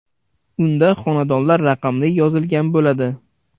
Unda xonadonlar raqamlari yozilgan bo‘ladi.